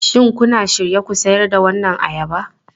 Shin kuna shirye ku sayar da waɗannan ayaba?